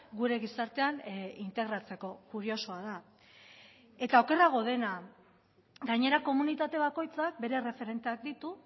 gure gizartean integratzeko kuriosoa da eta okerrago dena gainera komunitate bakoitzak bere erreferenteak ditu